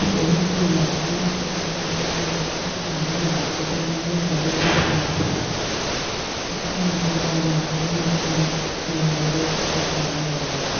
Udokotela lapho echasisela ahlangane lakho ngemva kokuhlola umuntu ogulayo kukhanya ubala umakhalekhukhwini lokho ahlangana lakho